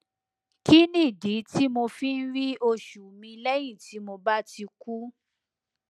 kí nìdí tí mo fi ń rí oṣù mi lẹyìn tí mo bá ti kú